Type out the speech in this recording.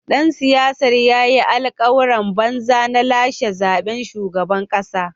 Dan siyasar ya yi alkawuran banza na lashe zaben shugaban kasa.